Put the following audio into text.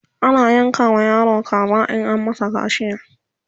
ana yanka wa yaro kaza in an masa kaciya